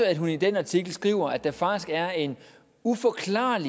at hun i den artikel skriver at der faktisk er en uforklaret